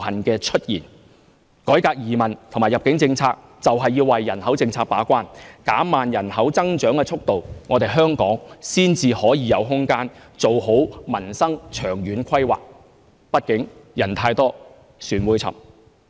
改革移民和入境政策就是為人口政策把關，減慢人口增長速度，香港才可以有空間做好民生長遠規劃，畢竟人太多、船會沉。